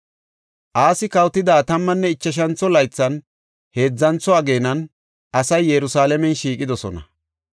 Asi kawotida tammanne ichashantho laythan, heedzantho ageenan asay Yerusalaamen shiiqidosona.